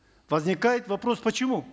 возникает вопрос почему